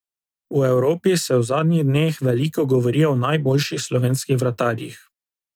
V Evropi se v zadnjih dneh veliko govori o najboljših slovenskih vratarjih.